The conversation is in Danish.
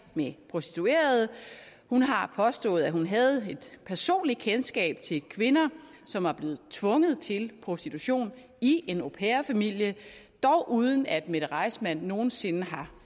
med prostituerede hun har påstået at hun havde et personligt kendskab til kvinder som var blevet tvunget til prostitution i en au pair familie dog uden at mette reissmann nogen sinde har